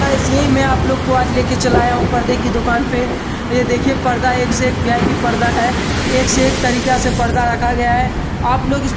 Guys यही मैं आप लोक को आज लेकर चला आया हूँ पर्दे की दुकान पे | यह देखिए पर्दा एक से एक वीआईपी पर्दा हैं एक से एक तरीका से पर्दा रखा गया है। आप लोग इस --